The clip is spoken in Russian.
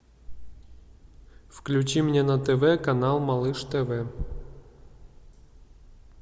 включи мне на тв канал малыш тв